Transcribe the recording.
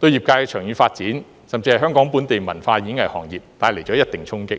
對業界的長遠發展甚至香港本地文化和演藝行業帶來一定的衝擊。